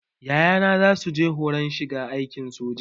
Yayana zasu je horon shiga aikin soja